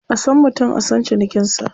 A san mutum a san cinikinsa.